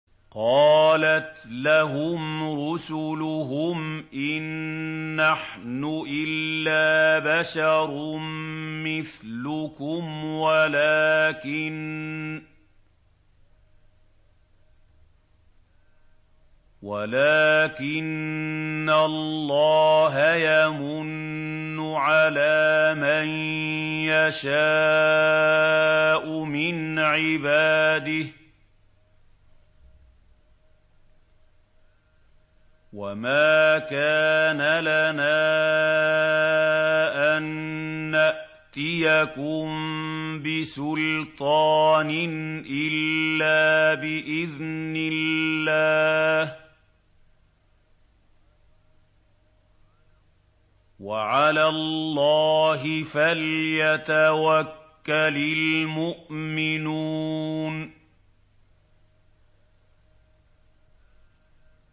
قَالَتْ لَهُمْ رُسُلُهُمْ إِن نَّحْنُ إِلَّا بَشَرٌ مِّثْلُكُمْ وَلَٰكِنَّ اللَّهَ يَمُنُّ عَلَىٰ مَن يَشَاءُ مِنْ عِبَادِهِ ۖ وَمَا كَانَ لَنَا أَن نَّأْتِيَكُم بِسُلْطَانٍ إِلَّا بِإِذْنِ اللَّهِ ۚ وَعَلَى اللَّهِ فَلْيَتَوَكَّلِ الْمُؤْمِنُونَ